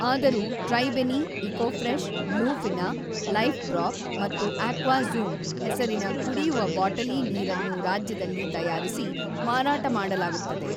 ಆದರೂ 'Tribeni', 'Eco Fresh', 'Blue Fina', 'Life Drop' ಮತ್ತು 'Aqua Zoom' ಹೆಸರಿನ ಕುಡಿಯುವ ಬಾಟಲಿ ನೀರನ್ನು ರಾಜ್ಯದಲ್ಲಿ ತಯಾರಿಸಿ ಮಾರಾಟ ಮಾಡಲಾಗುತ್ತದೆ.